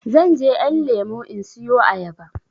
Zanje ƴan lemo in siyo ayaba